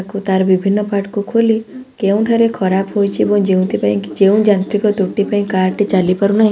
କୁ ତାର ବିଭିନ୍ନ ପାର୍ଟ କୁ ଖୋଲି କେଉଁଠାରେ ଖରାପ ହୋଇଛି ଏବଂ ଯେଉଁଥିପାଇଁ କି ଯେଉଁ ଯାନ୍ତ୍ରିକ ତ୍ରୁଟି ପାଇଁ କାର୍ ଟି ଚାଲି ପାରୁ ନାହିଁ।